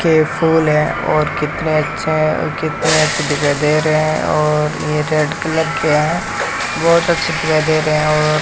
ये फूल हैं और कितने अच्छे हैं और कितने अच्छे दिखाई दे रहे हैं और ये रेड कलर के हैं बहोत अच्छी दिखाई दे रहे हैं और --